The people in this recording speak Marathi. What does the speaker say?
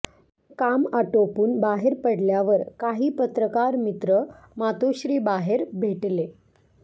काम आटोपून बाहेर पडल्यावर काही पत्रकार मित्र मातोश्रीबाहेर भेटले